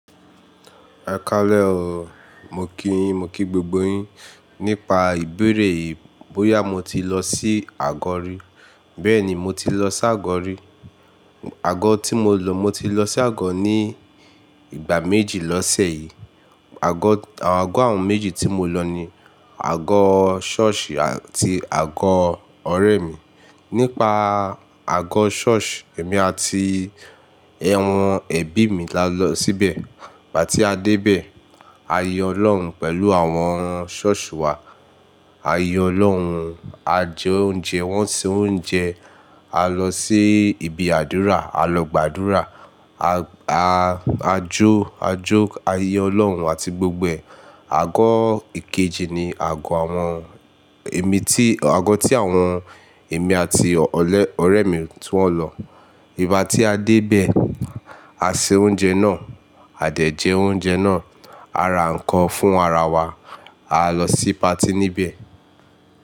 Ẹ káalẹ̀ o. Mo kí yín, mo kí gbogbo yín nípa ìbéèrè yìí, bóyà mo ti lọ sí àgó rí. Bẹ́ẹ̀ni, mo ti lọ s'àgó rí. Àgó tí mo lọ, mo ti lọ sí àgó ní ìgbà méjì l'ọsé yìí. Àgó, àwọn àgó àwọn méjì tí mo lọ ni àgó ṣọ́ọ̀ṣì àti àgó ọ̀rẹ́ mi. Nípa àgó ṣọ́ọ̀ṣì, èmi àti ẹ̀wọ̀n ẹbí mi la lọ síbẹ̀. Ìgbà tí a dé ibẹ̀, a yan Ọlọ́run pẹ̀lú àwọn ṣọ́ọ̀ṣì wa. A yin Ọlọ́run, a jẹ oúnjẹ, wọ́n se oúnjẹ, a lọ sí ibi àdúrà, a lọ gbàdúrà, a jó, a jó, a yin Ọlọ́run àti gbogbo ẹ̀. Àgó ìkejì ni àgó àwọn èmi tí, àgó tí àwọn èmi àti ọ̀rẹ́ mi tún wọ́n lọ. Ìgbà tí a dé ibẹ̀, a se oúnjẹ náà, a dẹ̀ jé oúnjẹ náà, a ra nǹkan fún ara wa, a lọ sí patí níbẹ̀.